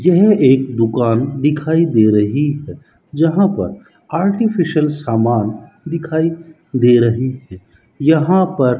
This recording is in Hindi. यह एक दुकान दिखाई दे रही है जहां पर आर्टिफिशियल सामान दिखाई दे रही है यहां पर --